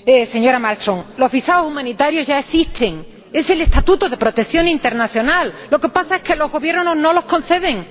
Señora Malmström, los visados humanitarios ya existen es el estatuto de protección internacional. Lo que pasa es que los Gobiernos no los conceden